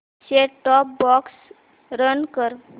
set top box run कर